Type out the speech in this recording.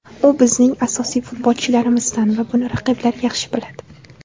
U bizning asosiy futbolchilarimizdan va buni raqiblar yaxshi biladi.